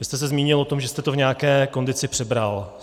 Vy jste se zmínil o tom, že jste to v nějaké kondici přebral.